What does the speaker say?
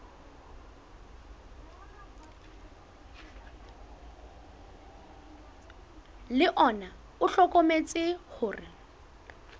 le ona o hlokometse hore